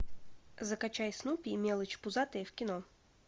закачай снупи и мелочь пузатая в кино